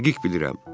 Dəqiq bilirəm.